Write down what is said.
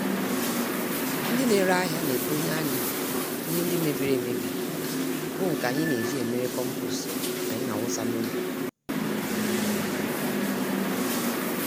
Ndị nere ahịa naekponye anyị ihe ndị mebiri-emebi bụ nke anyị n'eji emere kompost anyị nawụsa n'ubi.